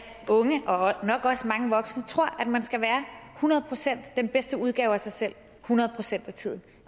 unge og nok også mange voksne tror at man skal være hundrede procent den bedste udgave af sig selv hundrede procent af tiden